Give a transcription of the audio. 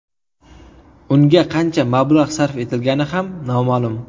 Unga qancha mablag‘ sarf etilgani ham noma’lum.